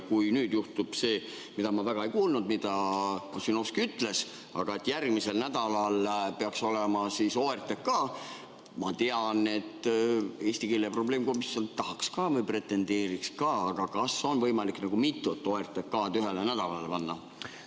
Kui nüüd juhtub see, mida ma väga ei kuulnud, mida Ossinovski ütles, et järgmisel nädalal peaks olema nende OTRK, ja ma tean, et eesti keele probleemkomisjon pretendeeriks ka sellele, siis kas on võimalik mitut OTRK-d ühele nädalale panna?